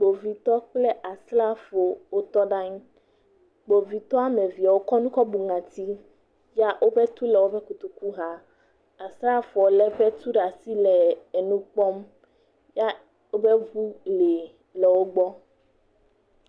Kpovitɔ kple asrafo wotɔ ɖe anyi. Kpovitɔ woame evea kɔ nu kɔ bu ŋɔti ya woƒe tu le woƒe kotoku xa. Asrafoa lé eƒe tu ɖe asi le nu kpɔm ya woƒe ŋu li le wo gbɔ.